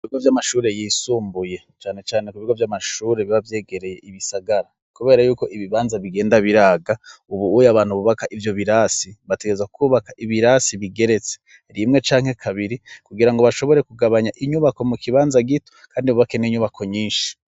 Ku bigo vy'amashuri yisumbuye cane cane ku bigo vy'amashuri biba vyegereye ibisagara, kubera yuko ibibanza bigenda biraga, ubuye abantu bubaka ivyo birasi bategerezwa kubaka ibirasi bigeretse rimwe canke kabiri, kugira ngo bashobore kugabanya inyubako mu kibanza gito, kandi bubake n'inyubako nyinshi.